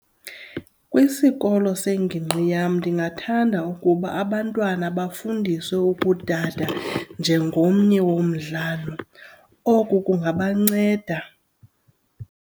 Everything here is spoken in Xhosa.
Kwisikolo sengigqi yam ndingathanda ukuba abantwana bafundiswe ukudada njengomnye womdlalo. Oku kungabanceda.